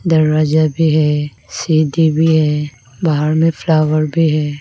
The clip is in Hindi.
दरवाजा भी है सीढ़ी भी है बाहर में फ्लावर भी है।